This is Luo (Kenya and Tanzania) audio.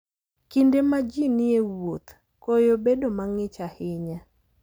Kinde ma ji ni e wuoth, koyo bedo mang'ich ahinya.